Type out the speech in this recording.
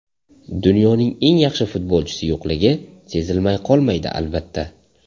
Dunyoning eng yaxshi futbolchisi yo‘qligi sezilmay qolmaydi, albatta.